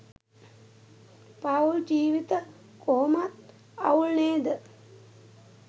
පවුල් ජීවිත කොහොමත් අවුල් නේද?